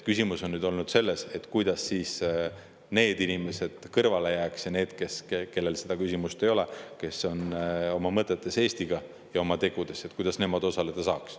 Küsimus on olnud selles, kuidas need inimesed kõrvale jääks ja need, kelle puhul seda küsimust ei ole, kes on oma mõtetes ja tegudes Eestiga, osaleda saaks.